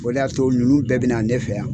O de y'a to ninnu bɛɛ bɛna na ne fɛ yan